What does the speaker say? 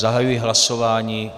Zahajuji hlasování.